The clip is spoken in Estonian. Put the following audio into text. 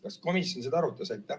Kas komisjon seda arutas?